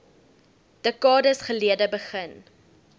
dekades gelede begin